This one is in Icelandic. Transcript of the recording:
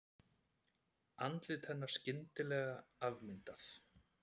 Andlit hennar skyndilega afmyndað.